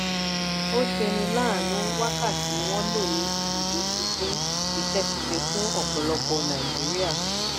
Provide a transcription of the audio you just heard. ó ṣeni láàánú wákàtí wọ́n lò ní ibùdó ti dín iṣẹ́ ṣíṣe fún ọ̀pọ̀lọpọ̀ nàìjíríà.